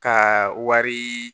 Ka wari